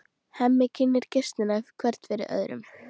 Hemmi kynnir gestina hvern fyrir öðrum.